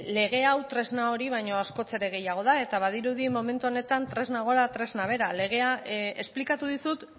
lege hau tresna hori baino askoz ere gehiago da eta badirudi momentu honetan tresna gora tresna behera esplikatu dizut